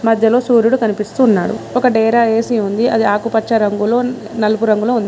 మధ్యలో సూర్యుడు కనిపిస్తు ఉన్నాడు ఒక డేరా ఏసి ఉంది అది ఆకుపచ్చ రంగులో నలుపు రంగులో ఉం--